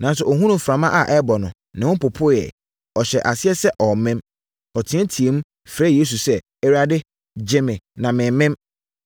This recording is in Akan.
Nanso, ɔhunuu mframa a ɛrebɔ no, ne ho popoeɛ. Ɔhyɛɛ aseɛ sɛ ɔremem. Ɔteateaam, frɛɛ Yesu sɛ, “Awurade, gye me na meremem!”